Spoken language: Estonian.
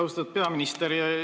Austatud peaminister!